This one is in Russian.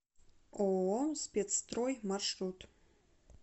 ооо спецстрой маршрут